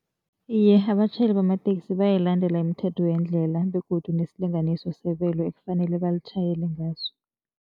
Iye, abatjhayeli bamatekisi bayayilandela imithetho yendlela begodu nesilinganiso sebelo ekufanele balitjhayele ngaso.